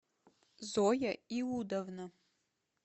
зоя иудовна